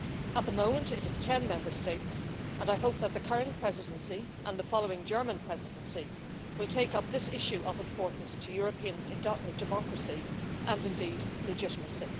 At the moment, it is 10 Member States and I hope that the current Presidency and the following German Presidency will take up this issue of importance to European democracy and indeed legitimacy.